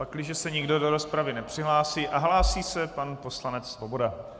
Pakliže se nikdo do rozpravy nepřihlásí - a hlásí se pan poslanec Svoboda.